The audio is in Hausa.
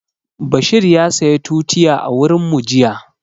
Bashir ya saya tutiya a wurin mu jiya